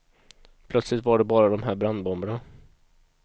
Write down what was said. Plötsligt var det bara dom här brandbomberna.